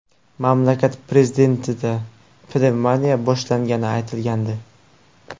Mamlakat prezidentida pnevmoniya boshlangani aytilgandi.